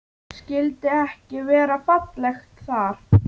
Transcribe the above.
Skyldi ekki vera fallegt þar?